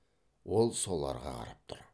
ол соларға қарап тұр